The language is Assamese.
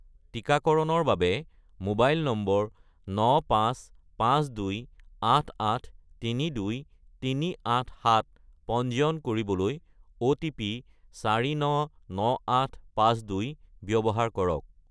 টিকাকৰণৰ বাবে মোবাইল নম্বৰ 95528832387 পঞ্জীয়ন কৰিবলৈ অ'টিপি 499852 ব্যৱহাৰ কৰক